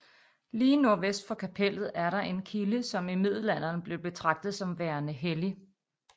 Lige nordvest for kapellet er der en kilde som i middelalderen blev betragtet som værende hellig